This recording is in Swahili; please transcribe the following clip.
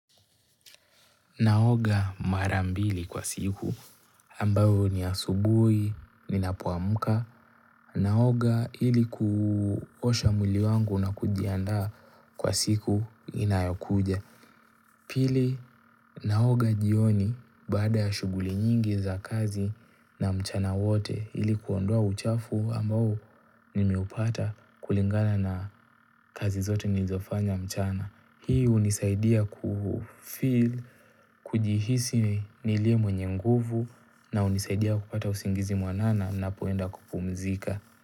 Naoga mara mbili kwa siku, ambayo ni asubuhi, ninapoamuka, naoga ili kuosha mwili wangu na kujiandaa kwa siku inayokuja. Pili naoga jioni baada ya shughuli nyingi za kazi na mchana wote ili kuondoa uchafu ambao nimeupata kulingana na kazi zote nilizofanya mchana. Hii hunisaidia kufeel, kujihisi nilie mwenye nguvu na hunisaidia kupata usingizi mwanana ninapoenda kupumzika.